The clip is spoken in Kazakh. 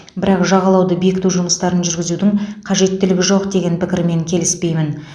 бірақ жағалауды бекіту жұмыстарын жүргізудің қажеттілігі жоқ деген пікірмен келіспеймін